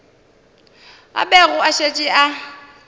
a bego a šetše a